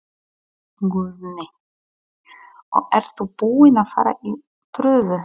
Guðný: Og ert þú búin að fara í prufu?